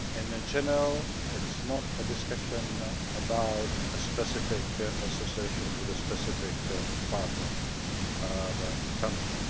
it is not a discussion about a specific association with a specific partner country.